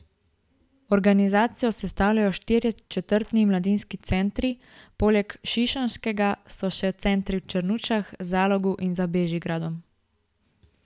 Organizacijo sestavljajo štirje četrtni mladinski centri, poleg šišenskega so še centri v Črnučah, Zalogu in za Bežigradom.